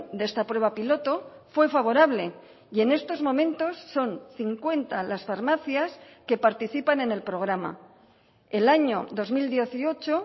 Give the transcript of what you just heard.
de esta prueba piloto fue favorable y en estos momentos son cincuenta las farmacias que participan en el programa el año dos mil dieciocho